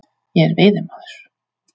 Ég er veiðimaður.